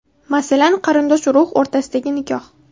Masalan, qarindosh-urug‘ o‘rtasidagi nikoh.